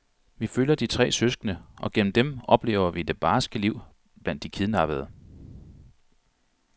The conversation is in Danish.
Vi følger de tre søskende, og gennem dem oplever vi det barske liv blandt de kidnappede.